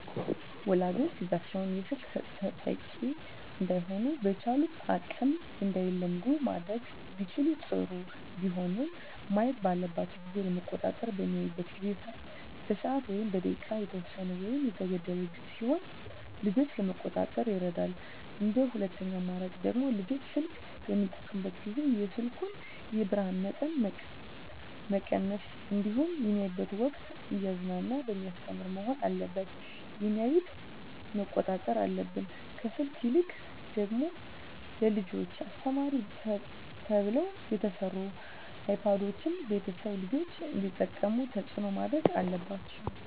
ወላጆች ልጆቻቸውን የስልክ ተጠቂ እዳይሆኑ በቻሉት አቅም እንዳይለምዱ ማድረግ ቢችሉ ጥሩ ቢሆንም ማየት ባለባቸው ጊዜ ለመቆጣጠር በሚያዩበት ጊዜ በሰዓት ወይም በደቂቃ የተወሰነ ወይም የተገደበ ቢሆን ልጆችን ለመቆጣጠር ይረዳል እንደ ሁለተኛ አማራጭ ደግሞ ልጆች ስልክ በሚጠቀሙበት ጊዜ የስልኩን የብርሀኑን መጠን መቀነስ እንዲሁም በሚያዩበት ወቅትም እያዝናና በሚያስተምር መሆን አለበት የሚያዮትን መቆጣጠር አለብን። ከስልክ ይልቅ ደግሞ ለልጆች አስተማሪ ተብለው የተሰሩ አይፓዶችን ቤተሰቦች ልጆች እንዲጠቀሙት ተፅዕኖ ማድረግ አለባቸው።